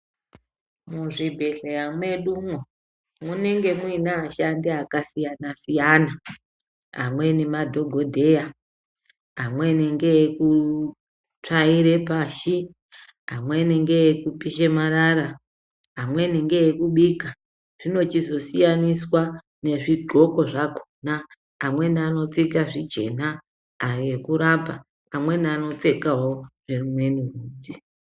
Muzvibhedhleya mwedumwo munenge muine ashandi akasiyana siyana . Amweni madhokodheya amweni ngeekutsvaire pashi, amweni ngeekupisha marara, amweni ngeekubika, zvinochizosiyaniswa nezvidxoko zvakhona. Amweni anopfeka zvijena ayo ekurapa, amweni anopfekawo rimweni rudzi.